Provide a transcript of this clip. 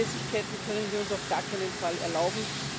Nachlässigkeiten können wir uns auf gar keinen Fall erlauben.